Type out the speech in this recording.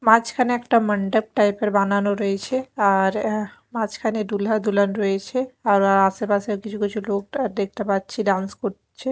মাঝখানে একটা মন্ডপ টাইপ -এর বানানো রয়েছে আর এ্যা মাঝখানে দুলহা দুলহান রয়েছে আবার আশেপাশে কিছু কিছু লোক দা-দেখতে পাচ্ছি ডান্স করছে।